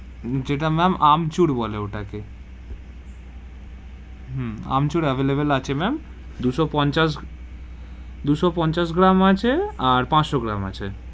যেটা ma'am আমচুর বলে ওটাকে, হম আমচুর available আছে ma'am দু সো পঞ্চাশ গ্রাম আছে আর পাঁচশো গ্রাম আছে.